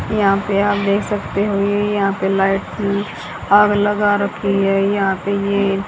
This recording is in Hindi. यहां पे आप देख सकते हो ये यहां पे लाइट अ आग लगा रखी है यहा पे ये--